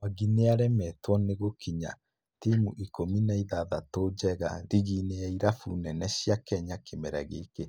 Mwangi nĩaremetwo nĩ gĩkinya timu ikũmi na ithathatũ njega rigi-inĩ ya irabu nene cia Kenya kĩmera gĩkĩ